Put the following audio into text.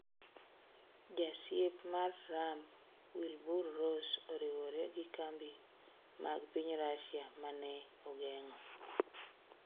Jasiep mar Trump Wilbur Ross oriwre gi kambi mag piny Russia mane ogeng'o